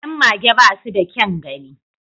Yan mage ba su da kyan gani